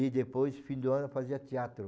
E depois, fim do ano, fazia teatro.